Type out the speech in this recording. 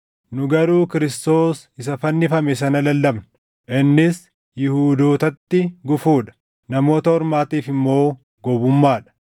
nu garuu Kiristoos isa fannifame sana lallabna; innis Yihuudootatti gufuu dha; Namoota Ormaatiif immoo gowwummaa dha;